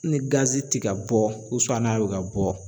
Ni ti ka bɔ n'a bɛ ka bɔ